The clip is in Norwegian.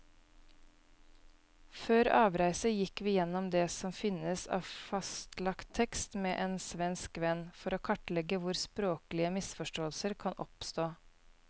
Før avreise gikk vi gjennom det som finnes av fastlagt tekst med en svensk venn, for å kartlegge hvor språklige misforståelser kan oppstå.